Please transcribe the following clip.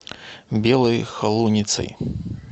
белой холуницей